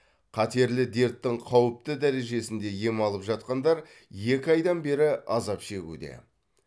қатерлі дерттің қауіпті дережесінде ем алып жатқандар екі айдан бері азап шегуде